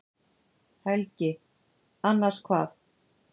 Helgi: Annars hvað?